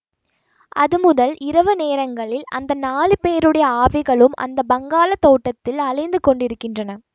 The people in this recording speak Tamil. அதுமுதல் இரவு நேரங்களில் அந்த நாலு பேருடைய ஆவிகளும் அந்த பஙகாளத் தோட்டத்தில் அலைந்து கொண்டிருக்கின்றன